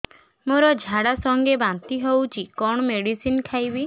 ମୋର ଝାଡା ସଂଗେ ବାନ୍ତି ହଉଚି କଣ ମେଡିସିନ ଖାଇବି